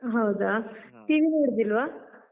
ಹಾ ಹೌದಾ? TV ನೋಡುದಿಲ್ವ?